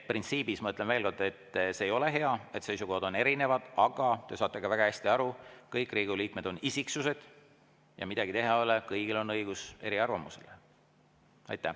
Printsiibis, ma ütlen veel kord, see ei ole hea, et seisukohad on erinevad, aga te saate väga hästi aru, et kõik Riigikogu liikmed on isiksused ja midagi teha ei ole, kõigil on õigus eriarvamusele.